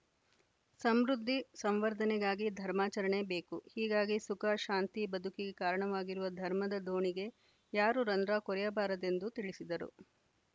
ಸಮೃದ್ಧಿ ಸಂವರ್ಧನೆಗಾಗಿ ಧರ್ಮಾಚರಣೆ ಬೇಕು ಹೀಗಾಗಿ ಸುಖ ಶಾಂತಿ ಬದುಕಿಗೆ ಕಾರಣವಾಗಿರುವ ಧರ್ಮದ ದೋಣಿಗೆ ಯಾರೂ ರಂಧ್ರ ಕೊರೆಯಬಾರದೆಂದು ತಿಳಿಸಿದರು